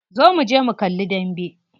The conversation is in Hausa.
Zo muje mu kalli dambe.